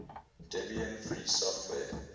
debian free software